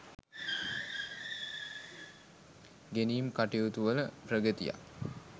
ඉගෙනීම් කටයුතු වල ප්‍රගතියක්